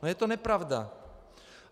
No je to nepravda.